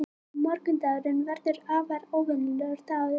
Morgundagurinn verður afar óvenjulegur dagur.